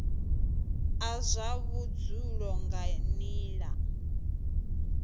a zwa vhudzulo nga nila